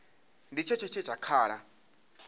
tshi tshetsho tshe kha la